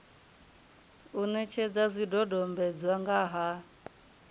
u netshedza zwidodombedzwa nga ha